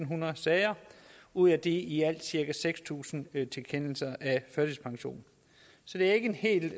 hundrede sager ud af de alt cirka seks tusind tilkendelser af førtidspension så det er ikke en helt